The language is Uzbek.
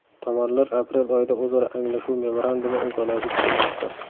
Tomonlar aprel oyida o‘zaro anglashuv memorandumi imzolashi kutilmoqda.